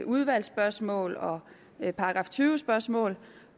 udvalgsspørgsmål og § tyve spørgsmål